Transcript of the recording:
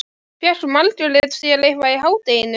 Fékk Margrét sér eitthvað í hádeginu?